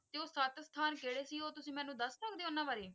ਤੇ ਉਹ ਸਤ ਸਥਾਨ ਕੇੜੇ ਸੀ ਉਹ ਤੁਸੀ ਮੈਨੂੰ ਦੱਸ ਸਕਦੇ ਹੋ ਉੰਨਾ ਬਾਰੇ ।